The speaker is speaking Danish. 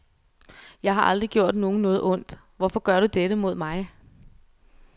Jeg har aldrig gjort nogen noget ondt, hvorfor gør du dette mod mig?